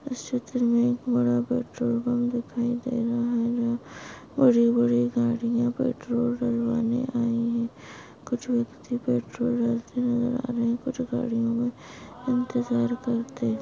इस चित्र मे एक बड़ा पेट्रोल पंप दिखाई दे रहा है यहाँ बड़ी बड़ी गाड़िया पेट्रोल भरवाने आई है कुछ व्यक्ति पेट्रोल भरते नजर आ रहे कुछ गाड़ियों मे इंतजार करते--